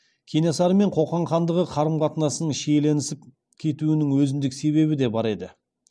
кенесары мен қоқан хандығы қарым қатынасының шиеленісіп кетуінің өзіндік себебі де бар еді